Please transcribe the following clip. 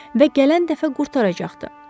Və gələn dəfə qurtaracaqdı.